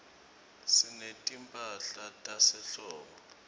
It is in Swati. sinetimphahla tasehlobo